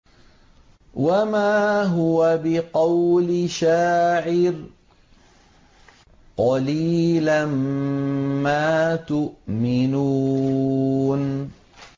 وَمَا هُوَ بِقَوْلِ شَاعِرٍ ۚ قَلِيلًا مَّا تُؤْمِنُونَ